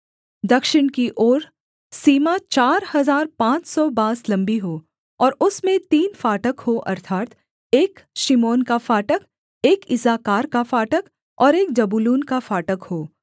दक्षिण की ओर सीमा चार हजार पाँच सौ बाँस लम्बी हो और उसमें तीन फाटक हों अर्थात् एक शिमोन का फाटक एक इस्साकार का फाटक और एक जबूलून का फाटक हो